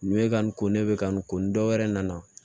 Nin bɛ ka nin ko ne bɛ ka nin ko nin dɔ wɛrɛ nana